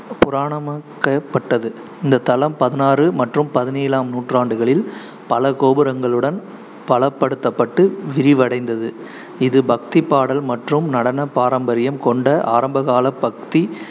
புராணக்கப்பட்டது இந்த தளம் பதினாறு மற்றும் பதினேழாம் நூற்றாண்டுகளில் பல கோபுரங்களுடன் பலப்படுத்தப்பட்டு விரிவடைந்தது. இது பக்தி பாடல் மற்றும் நடன பாரம்பரியம் கொண்ட ஆரம்பகால பக்தி